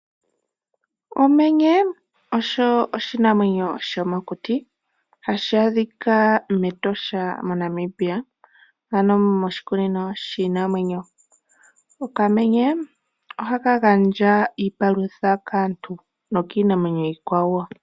Okamenye osho oshinamwenyo shomokuti hashi adhika mEtosha moNamibia ano moshikunino shiinamwenyo. Okamenye ohaka gandja iipalutha kaantu nokiinamwenyo iikwawo.